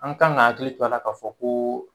An kan ka hakili to a la k'a fɔ koo